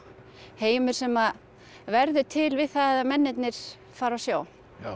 heimur sem að verður til við það að mennirnir fara á sjó